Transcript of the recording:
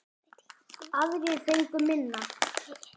Aðrir fengu minna.